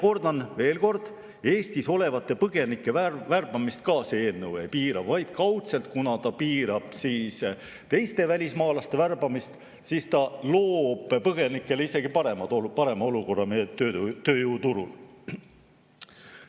Kordan veel kord, et Eestis olevate põgenike värbamist see eelnõu ka ei piira, vaid kuna ta piirab teiste välismaalaste värbamist, loob ta kaudselt põgenikele isegi parema olukorra meie tööturul.